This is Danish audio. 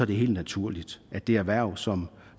det er helt naturligt at det erhverv som